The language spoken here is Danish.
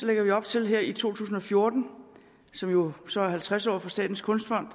lægger vi op til her i to tusind og fjorten som jo så er halvtreds året for statens kunstfond